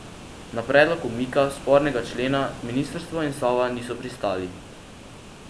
Na predlog umika spornega člena ministrstvo in Sova niso pristali.